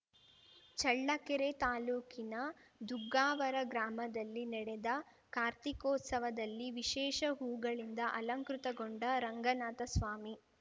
ಚಳ್ಳಕೆರೆ ತಾಲೂಕಿನ ದುಗ್ಗಾವರ ಗ್ರಾಮದಲ್ಲಿ ನೆಡೆದ ಕಾರ್ತಿಕೋತ್ಸವದಲ್ಲಿ ವಿಶೇಷ ಹೂಗಳಿಂದ ಅಲಂಕೃತಗೊಂಡ ರಂಗನಾಥಸ್ವಾಮಿ